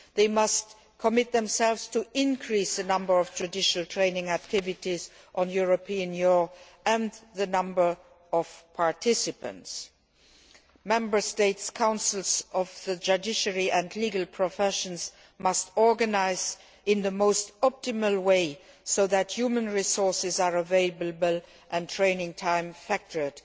They must commit themselves to increasing the number of judicial training activities on European law and the number of participants. Member States' councils of the judiciary and legal professions must organise matters in the most optimal way, so that human resources are available and training time factored